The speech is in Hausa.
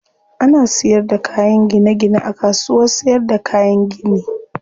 Ana siyar da kayan gine gine a kasuwar siyarda kayan gini.